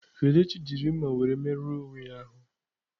Kelechi jiri mma were merụọ onwe ya ahụ.